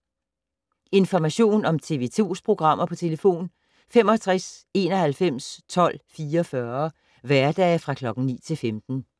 Information om TV 2's programmer: 65 91 12 44, hverdage 9-15.